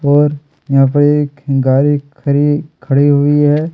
और यहाँ पर एक गाड़ी खरी खड़ी हुई है।